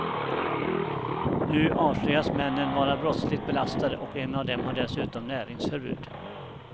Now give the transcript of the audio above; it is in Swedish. Nu avslöjas männen vara brottsligt belastade och en av dem har dessutom näringsförbud.